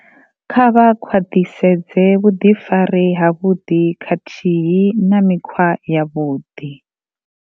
Kha vha khwaḓhisedze vhuḓifari havhuḓi khathihi na mikhwa yavhuḓi.